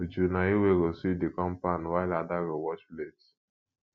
uju na you wey go sweep the compound while ada go wash plate